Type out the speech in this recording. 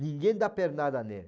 Ninguém dá pernada nele.